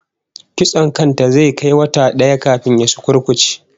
Kitson kan ta zai kai wata daya kafin ya sukurkuce